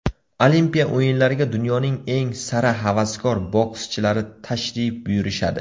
Olimpiya o‘yinlariga dunyoning eng sara havaskor bokschilari tashrif buyurishadi.